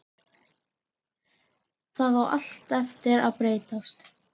Það á allt eftir að breytast!